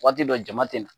Waati dɔ jama tɛ na